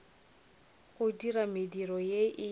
go dira mediro ye e